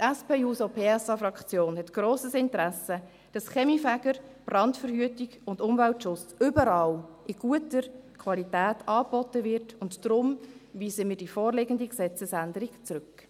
Die SP-JUSO-PSA-Fraktion hat grosses Interesse, dass die Kaminfeger Brandverhütung und Umweltschutz überall und in guter Qualität anbieten können, und deshalb weisen wir die vorliegende Gesetzesänderung zurück.